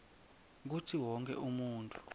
kutsi wonkhe umuntfu